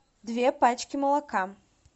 две пачки молока